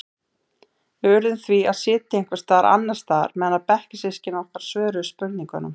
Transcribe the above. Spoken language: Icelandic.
Við urðum því að sitja einhvers staðar annars staðar meðan bekkjarsystkini okkar svöruðu spurningunum.